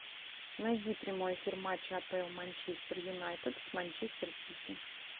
найди прямой эфир матча апл манчестер юнайтед с манчестер сити